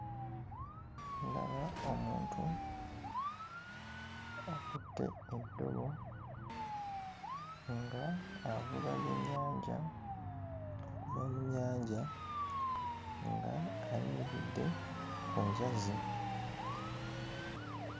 Ndaba omuntu akutte eddobo ng'avuba byennyanja mu nnyanja, ng'ayimiridde ku njazi.